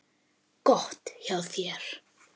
Gott hjá þér.